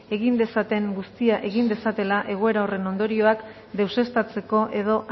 egin dezaten guztia egin dezatela egoera horren ondorioak deuseztatzeko edo